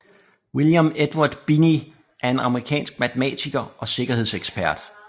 William Edward Binney er en amerikansk matematiker og sikkerhedsekspert